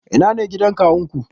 Ina ne gidan kawunku?